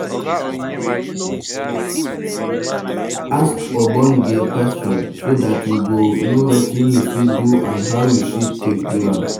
Ask ogbonge question so dat you go know wetin you fit do and how you fit take do am